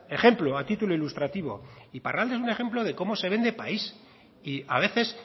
ejemplo a título ilustrativo iparralde es un ejemplo de cómo se vende el país y a veces